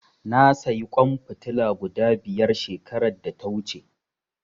Na sayi ƙwan fitila guda biyar shekarar da ta wuce.